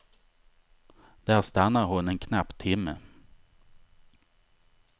Där stannar hon en knapp timme.